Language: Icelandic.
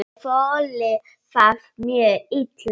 Ég þoli það mjög illa.